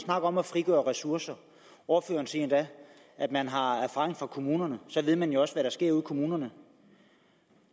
snakker om at frigøre ressourcer ordføreren siger endda at man har erfaring fra kommunerne så ved man jo også hvad der sker ude i kommunerne